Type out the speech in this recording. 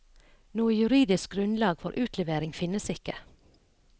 Noe juridisk grunnlag for utlevering finnes ikke.